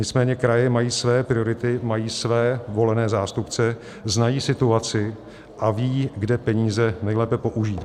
Nicméně kraje mají své priority, mají své volené zástupce, znají situaci a ví, kde peníze nejlépe použít.